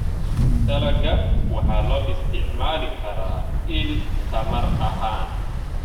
Dalagga waxa loo isticmaali karaa il tamar ahaan.